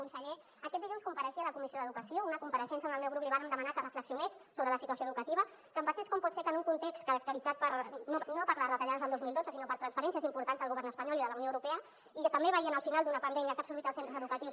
conseller aquest dilluns compareixia a la comissió d’educació una compareixença on el meu grup li vàrem demanar que reflexionés sobre la situació educativa que pensés com pot ser que en un context caracteritzat no per les retallades del dos mil dotze sinó per transferències importants del govern espanyol i de la unió europea i també veient el final d’una pandèmia que ha absorbit els centres educatius